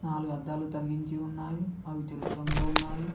నాలుగు అద్దాలు తగిలించి ఉన్నాయి అవి తెలుపు రంగులో ఉన్నాయి.